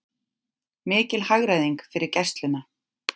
Mikil hagræðing fyrir Gæsluna